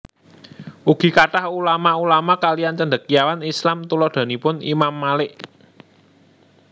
Ugi kathah ulama ulama kaliyan Cendekiawan Islam tuladhanipun Imam Malik